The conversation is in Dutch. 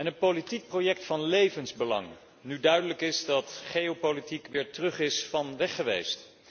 En een politiek project van levensbelang, nu duidelijk is dat geopolitiek weer terug is van weggeweest.